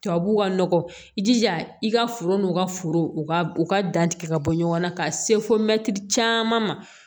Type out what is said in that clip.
Tubabuw ka nɔgɔ i jija i ka foro n'u ka foro u ka u ka dan tigɛ ka bɔ ɲɔgɔn na ka se fo mɛtiri caman ma